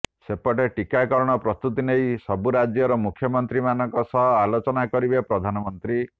ସେପଟେ ଟିକାକରଣ ପ୍ରସ୍ତୁତି ନେଇ ସବୁ ରାଜ୍ୟର ମୁଖ୍ୟମନ୍ତ୍ରୀମାନଙ୍କ ସହ ଆଲୋଚନା କରିବେ ପ୍ରଧାନମନ୍ତ୍ରୀ